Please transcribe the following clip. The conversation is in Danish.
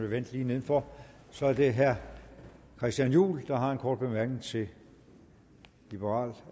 vil vente lige nedenfor så er det herre christian juhl der har en kort bemærkning til liberal